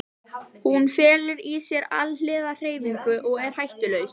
Hún felur í sér alhliða hreyfingu og er hættulaus.